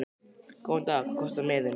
Góðan dag. Hvað kostar miðinn?